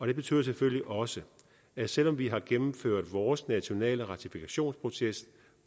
det betyder selvfølgelig også at selv om vi har gennemført vores nationale ratifikationsproces